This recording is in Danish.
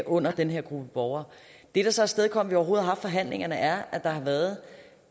under den her gruppe borgere det der så afstedkom vi har haft forhandlingerne er at der har været